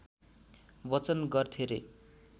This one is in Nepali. वाचन गर्थे रे